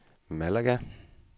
Malaga